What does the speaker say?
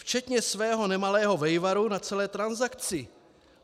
Včetně svého nemalého vejvaru na celé transakci!